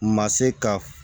Ma se ka